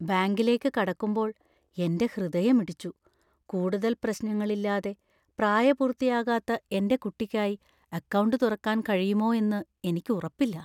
ബാങ്കിലേക്ക് കടക്കുമ്പോൾ , എന്‍റെ ഹൃദയമിടിച്ചു, കൂടുതൽ പ്രശ്നങ്ങൾ ഇല്ലാതെ പ്രായപൂർത്തിയാകാത്ത എന്‍റെ കുട്ടിക്കായി അക്കൗണ്ട് തുറക്കാൻ കഴിയുമോ എന്ന് എനിക്ക് ഉറപ്പില്ല.